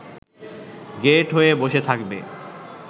গ্যাঁট হয়ে বসে থাকবে